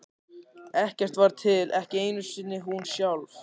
Ekkert var til, ekki einu sinni hún sjálf.